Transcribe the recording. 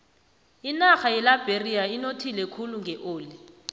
inarha yeliberia inothile khulu ngeoli